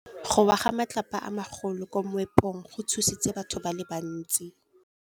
Go wa ga matlapa a magolo ko moepong go tshositse batho ba le bantsi.